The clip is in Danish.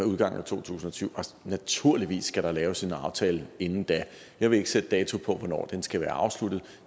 udgangen af to tusind og tyve naturligvis skal der laves en aftale inden da jeg vil ikke sætte dato på hvornår den skal være afsluttet